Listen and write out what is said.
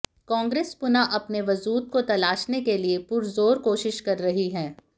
कांग्रेस पुनः अपने वजूद को तलाशने के लिए पुरजोर कोशिश कर रही है